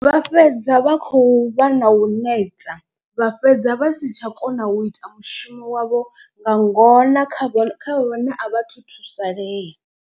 Vha fhedza vha khou vha na u neta vha fhedza vha si tsha kona u ita mushumo wavho nga ngona kha vhaṅwe kha vhane a vha thu thusalea.